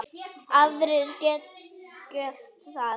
Aðrir geta gert það.